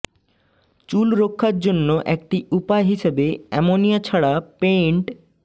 চুল রক্ষার জন্য একটি উপায় হিসেবে এমনিয়া ছাড়া পেইন্ট